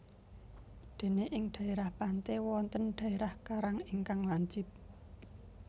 Dene ing dhaerah pante wonten dherah karang ingkang lancip